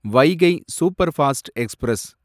Vaigai superfast express